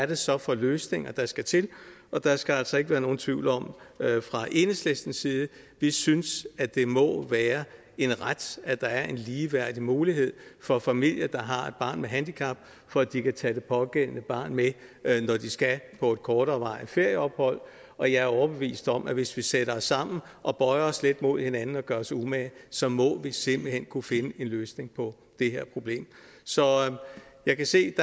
det så er for løsninger der skal til der skal altså ikke være nogen tvivl om at vi fra enhedslistens side synes at det må være en ret at der er en ligeværdig mulighed for familier der har et barn med handicap for at de kan tage det pågældende barn med når de skal på et korterevarigt ferieophold og jeg er overbevist om at hvis vi sætter os sammen og bøjer os lidt mod hinanden og gør os umage så må vi simpelt hen kunne finde en løsning på det her problem så jeg kan se